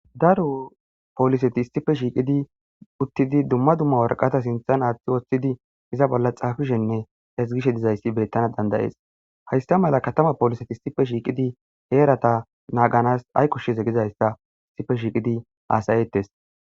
daru pooliseti issife shiiqidi uttidi dumma dumma worqata sinthan aaththi woshthidi iza bolla xaafishenne esgishe dizayssi bettana dandayees haysta mala katama poliseti issife shiiqidi heerata naaganas ay kushshes egizayssa issife shiiqidi aasayettes